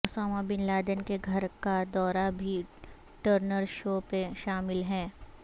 Usama bin Laden کے گھر کا دورہ بھی ٹرنر شو میں شامل ہے